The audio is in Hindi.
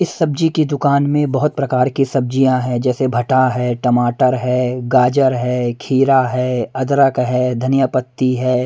इस सब्जीकी दुकान में बहुत प्रकार की सब्जियां है जैसे भटा है टमाटर है गाजर है खीरा है अदरक है धनिया पत्ती है।